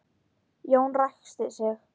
Jón ræskti sig.